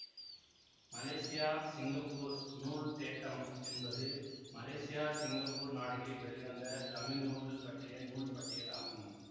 Malaysia Singapore நூல்தேட்டம் என்பது Malaysia Singapore நாடுகளில் வெளிவந்த தமிழ் நூல்கள் பற்றிய நூல்பட்டியல் ஆகும்